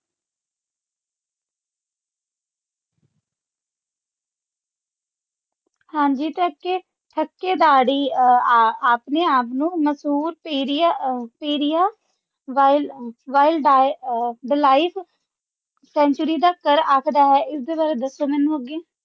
ਹਾਂਜੀ ਥੱਕੇ ਥਕਕੇਦਾਰੀ ਆਪਣੇ ਆਪ ਨੂੰ ਮਸ਼ਹੂਰ ਪੇਰਿਆ wildlife sanctuary ਦਾ ਘਰ ਆਖਦਾ ਹੈ ਇਸ ਦੇ ਬਾਰੇ ਦੱਸੋ ਮੈਨੂੰ ਅੱਗੇ